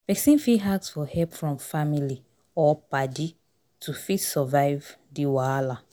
Person fit ask for help from family or paddy to fit survive di wahala